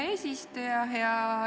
Hea eesistuja!